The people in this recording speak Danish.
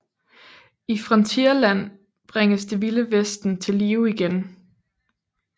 I Frontierland bringes Det Vilde Vesten til live igen